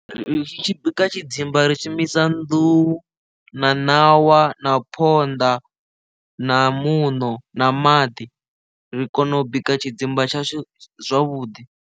Ri tshi bika tshidzimba ri tshi shumisa nḓuhu na ṋawa na phonḓa na muṋo na maḓi ri kone u bika tshidzimba tsha zwavhuḓi.